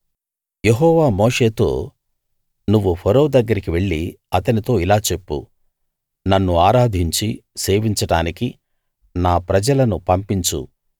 యెహోవా మోషేతో నువ్వు ఫరో దగ్గరికి వెళ్లి అతనితో ఇలా చెప్పు నన్ను ఆరాధించి సేవించడానికి నా ప్రజలను పంపించు